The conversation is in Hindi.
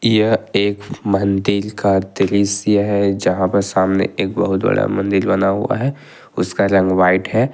यह एक मंदिर का दृश्य है यहां पर सामने एक बहुत बड़ा मंदिर बना हुआ है उसका रंग व्हाइट है।